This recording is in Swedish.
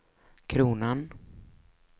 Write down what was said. kronan